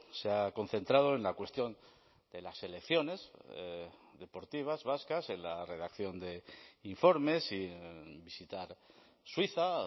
se ha concentrado en la cuestión de las selecciones deportivas vascas en la redacción de informes y visitar suiza